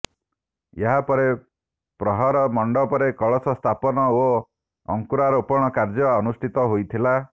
ଏହାପରେ ପ୍ରହର ମଣ୍ଡପରେ କଳସ ସ୍ଥାପନ ଓ ଅଙ୍କୁରାରୋପଣ କାର୍ଯ୍ୟକ୍ରମ ଅନୁଷ୍ଠିତ ହୋଇଥିଲା